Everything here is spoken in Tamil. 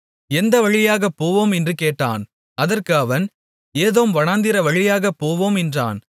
எந்த வழியாகப் போவோம் என்று கேட்டான் அதற்கு அவன் ஏதோம் வனாந்திரவழியாகப் போவோம் என்றான்